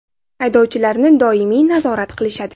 Haydovchilarini doimiy nazorat qilishadi.